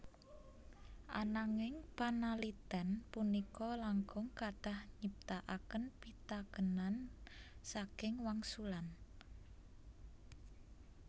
Ananging panalitén punika langkung kathah nyiptakaken pitakénan saking wangsulan